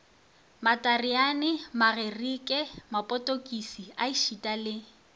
matareane magerike mapotokisi ešita le